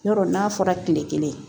Yɔrɔ n'a fɔra kile kelen